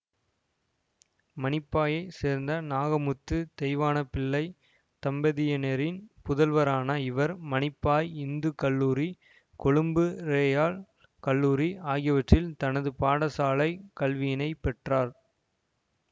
மானிப்பாயைச் சேர்ந்த நாகமுத்து தெய்வானைப்பிள்ளை தம்பதியினரின் புதல்வரான இவர் மானிப்பாய் இந்து கல்லூரி கொழும்பு றயல் கல்லூரி ஆகியவற்றில் தனது பாடசாலைக் கல்வியினைப் பெற்றார்